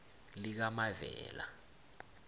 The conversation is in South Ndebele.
likamavela